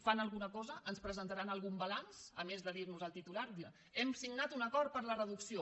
fan alguna cosa ens presentaran algun balanç a més de dir nos el titular hem signat un acord per la reducció